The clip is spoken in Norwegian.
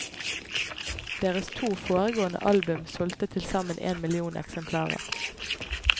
Deres to foregående album solgte tilsammen en million eksemplarer.